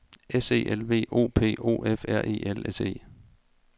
S E L V O P O F R E L S E